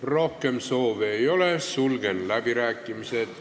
Rohkem soove ei ole, sulgen läbirääkimised.